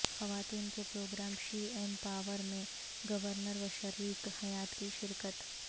خواتین کے programme she ایم پاور میں گورنر و شریک حیات کی شرکت